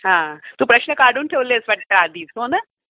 हा. तू प्रश्न काढून ठेवले आहेत आधीच वाटतं. हो ना?